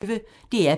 DR P1